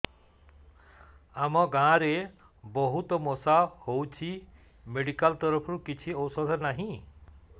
ଆମ ଗାଁ ରେ ବହୁତ ମଶା ହଉଚି ମେଡିକାଲ ତରଫରୁ କିଛି ଔଷଧ ନାହିଁ